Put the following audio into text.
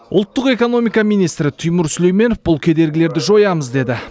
ұлттық экономика министрі тимур сүлейменов бұл кедергілерді жоямыз деді